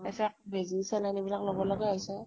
তাচত বেজি saline এইবিলাক লব লগা হৈছে।